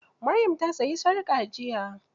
Maryam ta sayi sarƙa jiya.